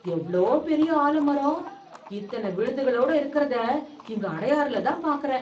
எவ்ளோ பெரிய ஆலமரம்... இத்தன விழுதுகளோடு இருக்கறத, இங்க அடையாறுலதான் பாக்கறேன்...